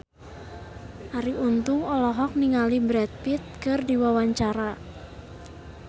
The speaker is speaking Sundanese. Arie Untung olohok ningali Brad Pitt keur diwawancara